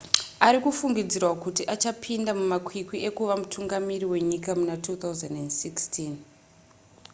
arikufungidzirwa kuti achapinda mumakwikwi ekuva mutungamiri wenyika muna 2016